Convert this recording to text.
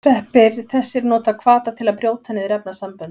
Sveppir þessir nota hvata til að brjóta niður efnasamböndin.